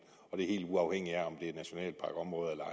og det er helt uafhængigt af om det er nationalparkområder eller